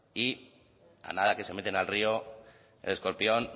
y a nada que se meten el río el escorpión